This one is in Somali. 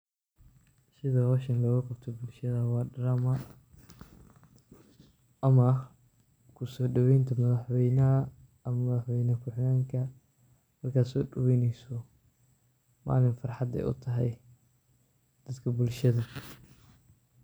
Sida hoosha looga qabto bulshada waa drama ama ku soodhoweynta madaxweynaha ama madaxweyn kuhiigenka marka soodhoweyneyso. Maalin farhad ay u tahay dadka bulshada.